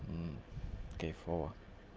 кайфово